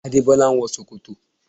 Adébọ́lá ń wọ ṣòkòtò